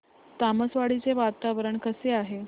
तामसवाडी चे वातावरण कसे आहे